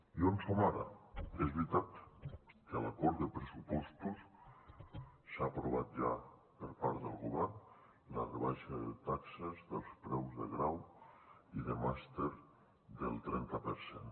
i on som ara és veritat que a l’acord de pressupostos s’ha aprovat ja per part del govern la rebaixa de taxes dels preus de grau i de màster del trenta per cent